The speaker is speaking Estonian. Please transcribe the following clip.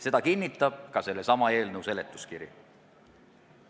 Seda kinnitab ka sellesama eelnõu seletuskiri.